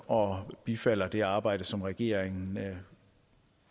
og bifalder det arbejde som regeringen